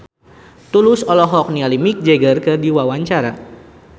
Tulus olohok ningali Mick Jagger keur diwawancara